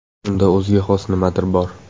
Unda o‘ziga xos nimadir bor”.